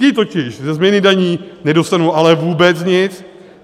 Ti totiž ze změny daní nedostanou ale vůbec nic.